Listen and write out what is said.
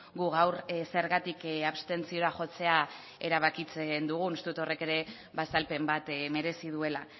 gu gaur zergatik abstentziora jotzea erabakitzen dugun uste dut horrek ere azalpen bat merezi duela